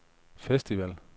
festival